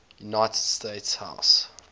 united states house